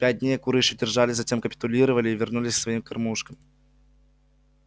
пять дней куры ещё держались затем капитулировали и вернулись к своим кормушкам